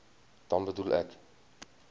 dan bedoel ek